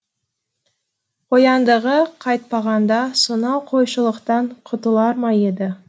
қояндыға қайтпағанда сонау қойшылықтан құтылар ма еді